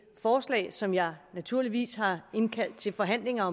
forslag som jeg naturligvis har indkaldt til forhandlinger